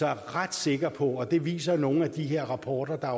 jeg ret sikker på og det viser nogle af de her rapporter der